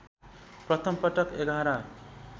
प्रथम पटक एघार